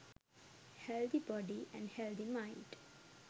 healthy body & healthy mind